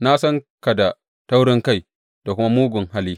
Na san ka da taurinkai, da kuma mugun hali.